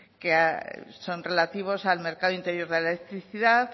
que son relativos al mercado interior de la electricidad